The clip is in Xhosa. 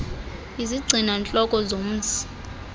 izigcina ntloko zomsi